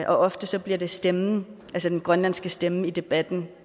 ofte bliver det stemmen altså den grønlandske stemme i debatten